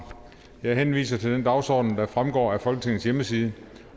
jeg henviser til den dagsorden der fremgår af folketingets hjemmeside